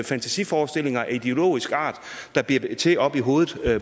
fantasiforestillinger af ideologisk art der bliver til oppe i hovedet